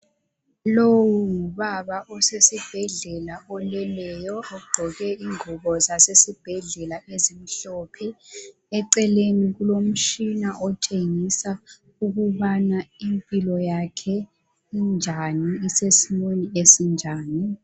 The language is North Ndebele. Lowu ngubaba osesibhedlela ogqoke ingubo zasesibhedlela ezimhlophe eceleni kulomtshina otshengisa ukubana impilo yakhe isesimweni esinjani